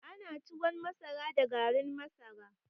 Ana tuwon masara da garin masara